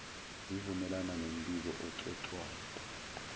zivumelane nombiko oxoxwayo